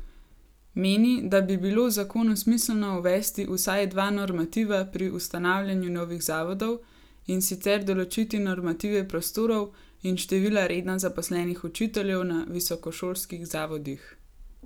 Meni, da bi bilo v zakonu smiselno uvesti vsaj dva normativa pri ustanavljanju novih zavodov in sicer določiti normative prostorov in števila redno zaposlenih učiteljev na visokošolskih zavodih.